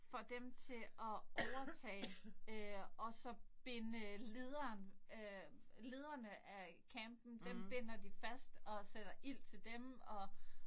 Får dem til at overtage øh og så binde lederen øh lederne af campen dem binder de fast og sætte ild til dem og